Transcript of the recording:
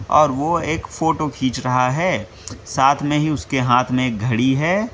और ओ एक फोटो खींच रहा है साथ में ही उसके हाथ में एक घड़ी है।